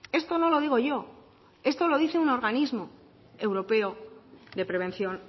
esto no lo digo yo esto lo dice un organismo europeo de prevención